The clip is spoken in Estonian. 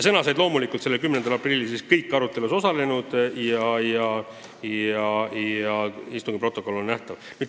Sõna said loomulikult kõik arutelus osalenud ja istungi protokoll on avalikkusele kättesaadav.